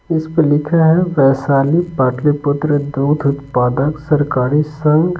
इस पे लिखा है वैशाली पाटलीपुत्र दूध उत्पादक सरकारी संघ--